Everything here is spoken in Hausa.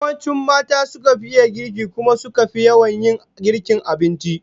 Yawanci mata suka fi iya girki, kuma suka fi yawan yin girkin abinci